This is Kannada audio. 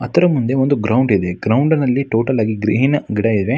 ಅತರ ಮುಂದೆ ಒಂದು ಗ್ರೌಂಡ್ ಇದೆ ಗ್ರೌಂಡ್ ನಲ್ಲಿ ಟೋಟಲಿ ಆಗಿ ಗ್ರೀನ್ ಕೂಡ ಇದೆ.